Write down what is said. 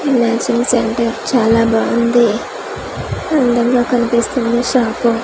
ఈ matching centre చాలా బాగుంది అందంగా కనిపిస్తుంది ఈ షాపు .